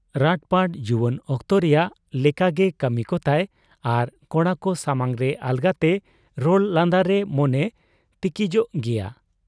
ᱨᱟᱴᱯᱟᱴ ᱡᱩᱣᱟᱹᱱ ᱚᱠᱛᱳ ᱨᱮᱭᱟᱝ ᱞᱮᱠᱟᱜᱮ ᱠᱟᱹᱢᱤ ᱠᱚᱛᱟᱭ ᱟᱨ ᱠᱚᱲᱟᱠᱚ ᱥᱟᱢᱟᱝᱨᱮ ᱟᱞᱜᱟᱛᱮ ᱨᱚᱲ ᱞᱟᱸᱫᱟᱨᱮ ᱢᱚᱱᱮ ᱪᱤᱠᱤᱡᱚᱜ ᱜᱮᱭᱟ ᱾